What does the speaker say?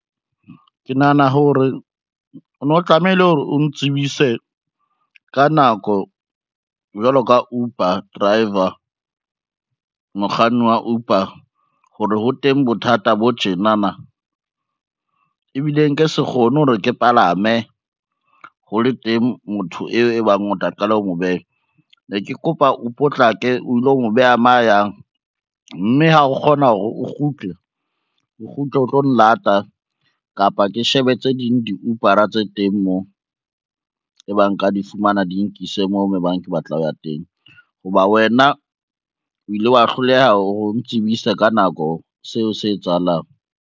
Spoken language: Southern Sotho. Ke nahana hore o no tlamehile hore o ntsibise ka nako jwalo ka Uber driver, mokganni wa Uber ho re ho teng bothata bo tjenana, ebile nke se kgone hore ke palame ho le teng motho eo e bang o tla qala ho mo beha ne ke kopa o potlake, o ilo o beha mo a yang, mme ha o kgona hore o kgutle, o kgutle o tlo nlata kapa ke shebe tse ding di-Uber-a tse teng mo ebang nka di fumana di nkise moo mo bang ke batla ho ya teng ho ba wena, o ile wa hloleha o ntsebise ka nako seo se etsahalang.